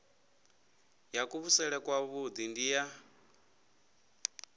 ya kuvhusele kwavhui ndi ya